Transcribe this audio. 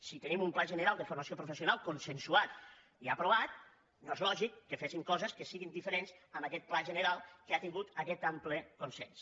si tenim un pla gene·ral de formació professional consensuat i aprovat no és lògic que féssim coses que siguin diferents a aquest pla general que ha tingut aquest ample consens